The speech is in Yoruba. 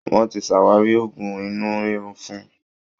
Wọ́n ti ṣàwárí Òògùn inú rírún fún